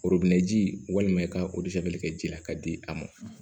ji walima i ka o kɛ ji la ka di a ma